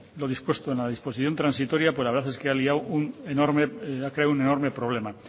lo dispuesto en la disposición transitoria pues la verdad es que ha liado un enorme ha creado un enorme problema